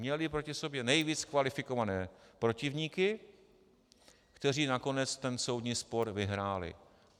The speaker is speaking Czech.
Měli proti sobě nejvíc kvalifikované protivníky, kteří nakonec ten soudní spor vyhráli.